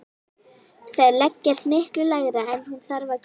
Þær leggjast miklu lægra en hún þarf að gera.